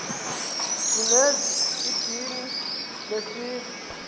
sinenz idini lesizwe